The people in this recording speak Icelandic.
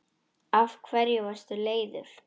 Af hverju varstu leiður?